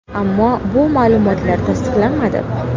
Ammo bu ma’lumotlar tasdiqlanmadi.